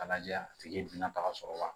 A lajɛ a tigi ye don nata sɔrɔ wa